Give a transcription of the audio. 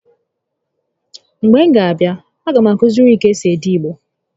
Mgbe m ga a abịa, a ga m akụiziri gị ka esi ede Igbo